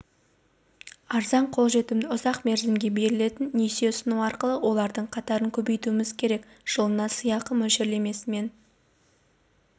арзан қолжетімді ұзақ мерзімге берілетін несие ұсыну арқылы олардың қатарын көбейтуіміз керек жылына сыйақы мөлшерлемесімен